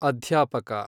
ಅಧ್ಯಾಪಕ